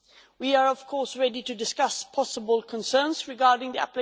We are, of course, ready to discuss possible concerns regarding the